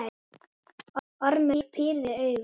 Ormur pírði augun.